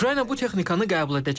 Ukrayna bu texnikanı qəbul edəcək.